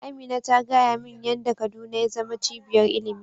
Amina ta gaya min yan da kaduna ya zama cibiyar ilimi